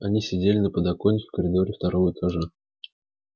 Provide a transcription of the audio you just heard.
они сидели на подоконнике в коридоре второго этажа